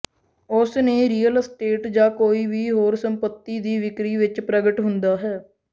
ਉਸ ਨੇ real estate ਜ ਕੋਈ ਵੀ ਹੋਰ ਸੰਪਤੀ ਦੀ ਵਿਕਰੀ ਵਿੱਚ ਪ੍ਰਗਟ ਹੁੰਦਾ ਹੈ